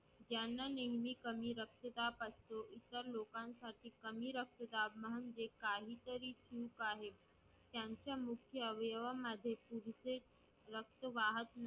ज्यांना नेहमी कमी रक्तदाब असतो, इतर लोकांसाठी कमी रक्तदाब म्हणजे काहीतरी चूक आहे त्यांच्या मुख्य अवयवांमध्ये पुरेसे रक्त वाहत